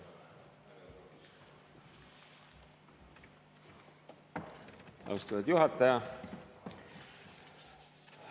Austatud juhataja!